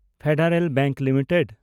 federal bank limited